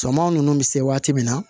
Samaw bɛ se waati min na